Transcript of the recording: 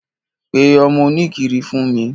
Pe ọmọ oníkiri fún mi.